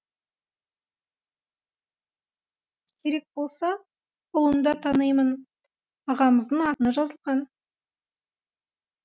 керек болса ұлын да танимын ағамыздың атына жазылған